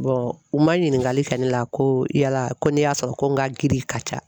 u ma ɲiningali kɛ ne la ko yala ko n'i y'a sɔrɔ ko n ka girin ka ca